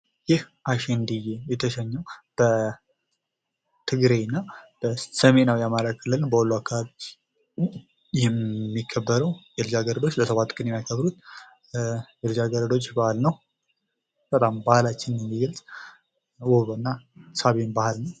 ይህ አሸንድዬ የተሰኘው በትግራይ እና በሰሜናዊ የአማራ ክፍል በወሎ አካባቢ የሚከበረው የልጃ ገረዶች ለሰባት ቀን የሚያከብሩት የልጃገረዶች በዓል ነው። በጣም ባህልችንን የሚገለጽ ውብ እና ሳቢም በዓል ነው።